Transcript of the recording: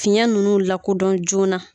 Fiɲɛ nunnu lakodɔn joona